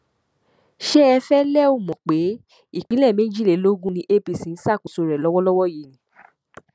ṣé ẹ fẹẹ lẹ ọ mọ pé ìpínlẹ méjìlélógún ni apc ń ṣàkóso rẹ lọwọlọwọ yìí ni